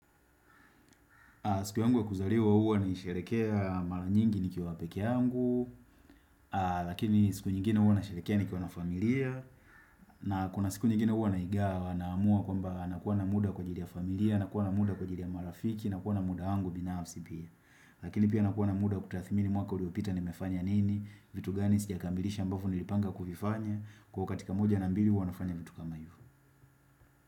Siku yangu ya kuzaliwa huwa naisherehekea mara nyingi nikiwa pekee yangu, lakini siku nyingine huwa nasherehekea nikiwa na familia, na kuna siku nyingine huwa naigawa naamua kwamba nakuwa na muda kwa ajili ya familia, nakuwa na muda kwa ajili ya marafiki, nakuwa na muda wangu binafsi pia. Lakini pia nakuwa na muda wakutathmini mwaka uliopita nimefanya nini, vitu gani sijakamilisha ambavo nilipanga kuvifanya, kwa katika moja na mbili huwa nafanya vitu kama hivo.